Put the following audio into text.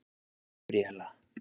Gabríella